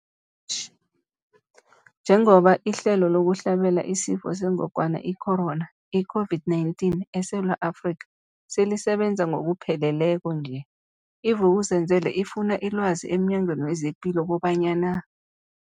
Njengoba ihlelo lokuhlabela isiFo sengogwana i-Corona, i-COVID-19, eSewula Afrika selisebenza ngokupheleleko nje, i-Vuk'uzenzele ifune ilwazi emNyangweni wezePilo kobanyana